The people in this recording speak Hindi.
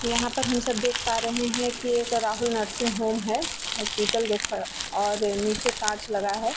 यहाँ पर हम सब देख पा रहे हैं की एक राहुल नर्सिंग होम है हॉस्पिटल जो खड़ाऔर नीचे कांच लगा है।